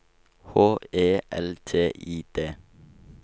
H E L T I D